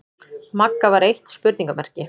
Magga var eitt spurningarmerki.